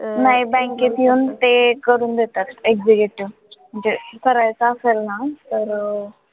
नाही bank त येऊन ते करून देतात executive म्हणजे करायचं असेल ना तर, अं